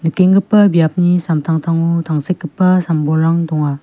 biapni samtangtango tangsekgipa sam-bolrang donga.